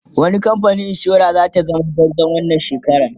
wani kamfanin insura zata zama gwarzo wannan shekaran?